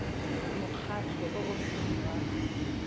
mokgatlho o o seng wa